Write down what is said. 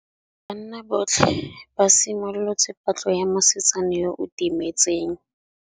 Banna botlhê ba simolotse patlô ya mosetsana yo o timetseng.